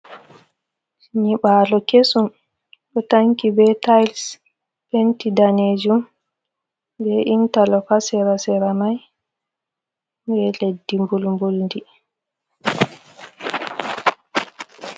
Nyiɓalo kesum ɗo tanki be tils penti danejum be intalok ha sera sera mai be leddi mbul mbul di.